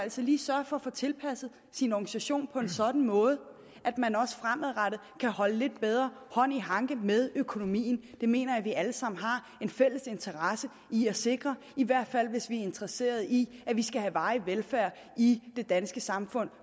så lige sørger for at få tilpasset sin organisation på en sådan måde at man også fremadrettet kan have lidt bedre hånd i hanke med økonomien det mener jeg vi alle sammen har en fælles interesse i at sikre i hvert fald hvis vi er interesserede i at vi fremadrettet skal have varig velfærd i det danske samfund